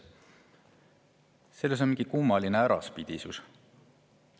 Selles on mingi kummaline äraspidisus.